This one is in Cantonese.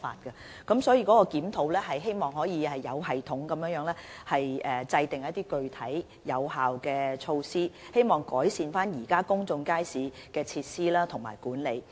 因此，檢討旨在有系統地制訂一些具體、有效的措施，以改善現時公眾街市的設施和管理。